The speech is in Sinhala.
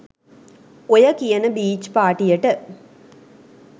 ඔය කියන බීච් පාටියට